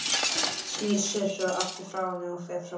Snýr sér svo frá henni og fer fram á ganginn.